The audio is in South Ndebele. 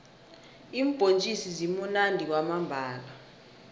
iimbhontjisi zimunandi kwamambhala